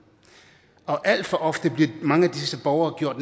og alt for ofte bliver mange af disse borgere gjort